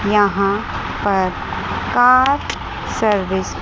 यहां पर car service --